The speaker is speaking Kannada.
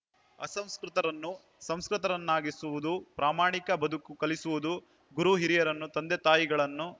ಅಸಂಸ್ಕೃತರನ್ನು ಸುಸಂಸ್ಕೃತರನ್ನಾಗಿಸುವುದು ಪ್ರಾಮಾಣಿಕ ಬದುಕನ್ನು ಕಲಿಸುವುದು ಗುರುಹಿರಿಯರನ್ನು ತಂದೆತಾಯಿಗಳನ್ನು